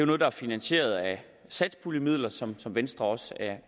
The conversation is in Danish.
noget der er finansieret af satspuljemidler som som venstre også er